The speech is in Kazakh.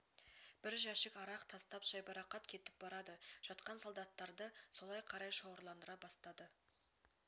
бір жәшік арақ тастап жайбарақат кетіп барады жатқан солдаттарды солай қарай шоғырландыра бастады